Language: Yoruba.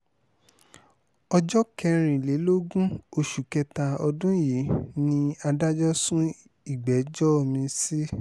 ọjọ́ kẹrìnlélógún oṣù kẹta ọdún yìí ni adájọ́ sún ìgbẹ́jọ́ mi-ín sí